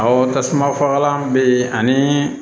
Awɔ tasuma fagalan bɛ yen ani